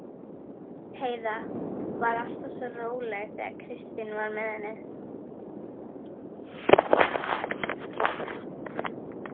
Heiða var alltaf svo róleg þegar Kristín var með henni.